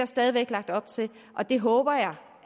stadig væk lagt op til og det håber jeg